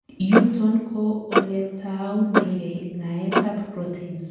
yuton ko oletaunengei ngaet ab proteins